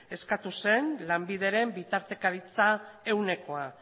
eskatu zen lanbideren bitartekaritza ehunekoa